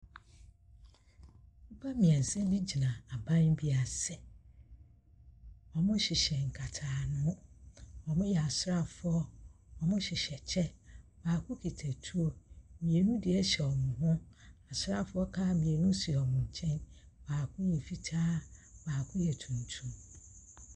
Nipa miɛnsa bi gyina haban bi ase. Ɔmo hyehyɛ nkataaho. Ɔmo yɛ asrafoɔ, ɔmo hyehyɛ kyɛ. Baako kita tuo, mienu diɛ hyɛ ɔmo ho. Asrafoɔ kaa mienu si ɔmo nkyɛn. Baako yɛ fitaa, baako yɛ tuntum.